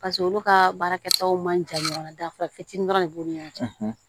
Paseke olu ka baarakɛtaw man jan ɲɔgɔnna dafara fitiinin dɔrɔn de b'u ni ɲɔgɔn cɛ